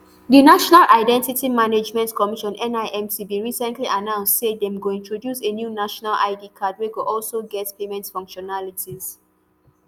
di national identity management commission nimc bin recently announce say dem go introduce a new national id card wey go also get payment functionalities